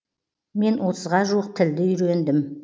мен отызға жуық тілді үйрендім